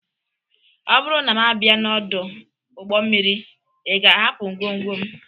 Ọ bụrụ na m bịa n'ọdụ ụgbọ mmiri, ị ga-ahapụ ngwongwo m?